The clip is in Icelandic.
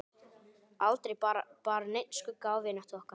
Aldrei bar neinn skugga á vináttu okkar.